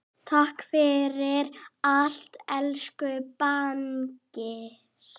Takk fyrir allt, elsku Bangsi.